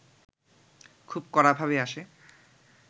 খুব কড়াভাবে আসে